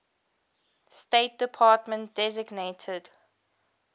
state department designated